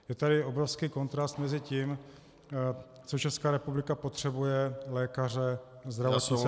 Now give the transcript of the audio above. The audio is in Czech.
Je tady obrovský kontrast mezi tím, co Česká republika potřebuje - lékaře, zdravotní sestry -